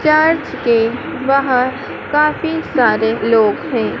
Church के बाहर काफी सारे लोग हैं।